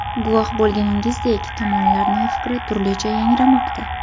Guvoh bo‘lganingizdek, tomonlarning fikri turlicha yangramoqda.